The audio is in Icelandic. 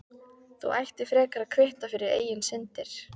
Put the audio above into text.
Þú ættir frekar að kvitta fyrir eigin syndir.